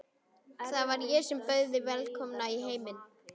Það var ég sem bauð þig velkomna í heiminn.